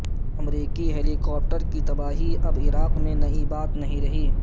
امریکی helicopter کی تباہی اب عراق میں نئی بات نہیں رہی